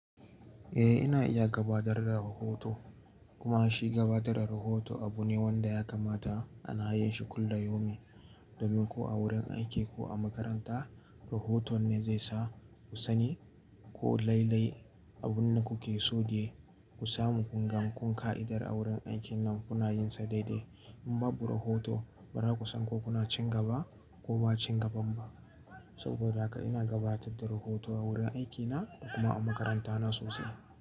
Eh, ina iya gabatar da rahoto kuma shi gabatar da rahoto abu ne wanda ya kamata ana yin shi kullum yaumin domin ko a wurin aiki ko a makaranta rahoto ne zai sa ku sani ko lailai abun da kuke so de ku samu. Kun ga kun ka'idar a wurin aikin nan kuna yin sa daidai. In babu rahoto ba za ku san ko kuna cin gaba ko ba cin gaban ba. Saboda haka ina gabatar da rahoto a wurin aikina da kuma a makaranta na sosai.